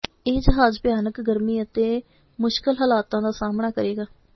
ਇਹ ਜਹਾਜ਼ ਭਿਆਨਕ ਗਰਮੀ ਅਤੇ ਮੁਸ਼ਕਲ ਹਾਲਾਤਾਂ ਦਾ ਸਾਹਮਣਾ ਕਰੇਗਾ